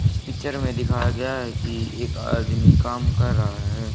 इस पिक्चर में दिखाया गया है कि एक आदमी कम कर रहा है।